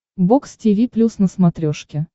бокс тиви плюс на смотрешке